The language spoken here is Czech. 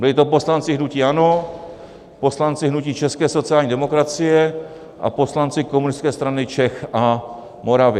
Byli to poslanci hnutí ANO, poslanci hnutí české sociální demokracie a poslanci Komunistické strany Čech a Moravy.